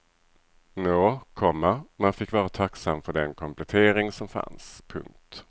Nå, komma man fick vara tacksam för den komplettering som fanns. punkt